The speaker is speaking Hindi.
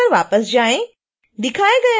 शून्य फ्रेम पर वापस आएँ